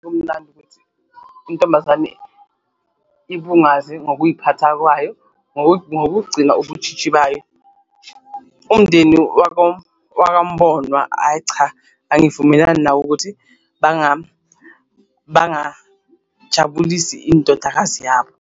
Kumnandi ukuthi intombazane ibungaze ngokuy'phatha kwayo ngokugcina ubutshitshi bayo, umndeni wakwaMbonwa ayi cha angivumelani nawo ukuthi bangajabulisi indodakazi yabo.